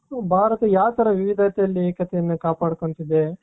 ಭಾರತ ಯಾವ ತರ ವಿವಿಧತೆಯಲ್ಲಿ ಏಕತೆಯನ್ನ ಕಾಪಾಡಿಕೊಳ್ಳುತ್ತದೆ.